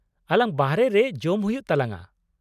- ᱟᱞᱟᱝ ᱵᱟᱦᱨᱮ ᱨᱮ ᱡᱚᱢ ᱦᱩᱭᱩᱜ ᱛᱟᱞᱟᱝᱟ ᱾